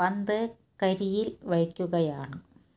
പന്ത് കരിയിൽ വയ്ക്കുകയാണ്